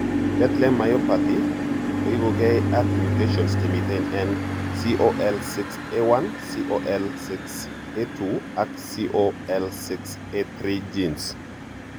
Bethlem myopathy koipuge ag mutations chemiten en COL6A1, COL6A2 ak COL6A3 genes.